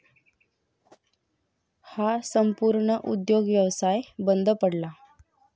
हा संपूर्ण उद्योगव्यवसाय बंद पडला.